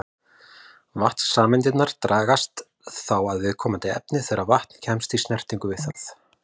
Vatnssameindirnar dragast þá að viðkomandi efni þegar vatn kemst í snertingu við það.